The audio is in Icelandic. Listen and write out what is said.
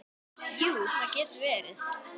Jú, það getur verið það.